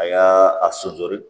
A y'a a sojɔ de